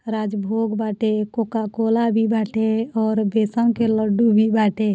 राज भोग बाटे coca cola भी बाटे और बेसन के लड्डू भी बाटे।